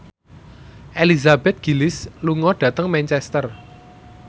Elizabeth Gillies lunga dhateng Manchester